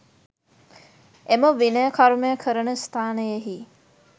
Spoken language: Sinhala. එම විනය කර්මය කරන ස්ථානයෙහි